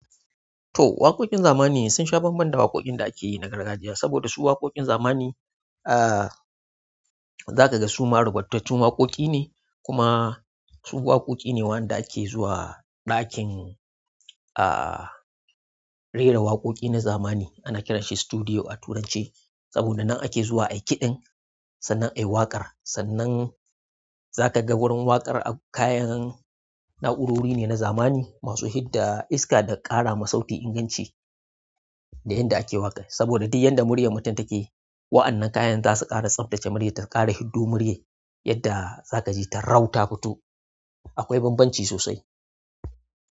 To waƙoƙin zamani sun sha bambam da waƙoƙin da ake yi na gargajiya saboda su waƙoƙin zamani, ah, za ka ga su ma rubatattun waƙoƙi ne kuma su waƙoƙi ne waɗanda ake zuwa ɗakin, ah, rera waƙoƙi na zamani ana kiranshi studio a turance saboda nan ake zuwa a yi kiɗan sannan a yi waƙar. Sannan za ka ga wurin waƙar ak- kayan na'urori ne na zamani masu hidda iska da ƙara ma sauti inganci da yadda ake waƙa. Saboda duk yadda muryar mutum take, waɗannan kayan za su ƙara tsabtace muryar ta ƙara hiddo muryar yadda za ka ji ta rau ta futo. Akwai bambanci sosai.